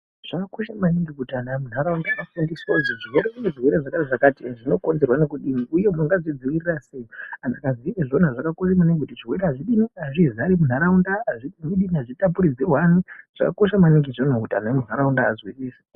Zvakakosha maningi munharaunda kuti vanhu vafundiswe kuti kune zvirwere zvakati zvakati zvinokonzerwa ngekudini uye mungazvidzivirirwa sei. Izvi Zvakakosha maningi kuti zvirwere azvizari munharaunda, azvitapurirwani. Zvakakosha maningi kuti antu emunharaunda vazwisise